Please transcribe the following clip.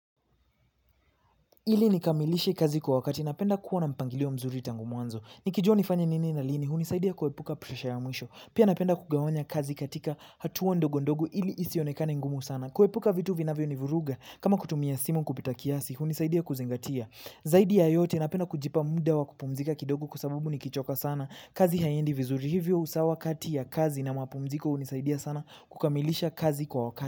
Ili nikamilishe kazi kwa wakati, napenda kuwa na mpangilio mzuri tangu mwanzo. Nikijua nifanye nini na lini, hunisaidia kuepuka presha ya mwisho. Pia napenda kugawanya kazi katika hatua ndogondogo ili isionekane ngumu sana. Kuepuka vitu vinavyonivuruga, kama kutumia simu kupita kiasi, hunisaidia kuzingatia. Zaidi ya yote napenda kujipa muda wa kupumzika kwa sababu nikichoka sana. Kazi haiendi vizuri. Hivyo usawa kati ya kazi na mapumziko, hunisaidia sana kukamilisha kazi kwa wakati.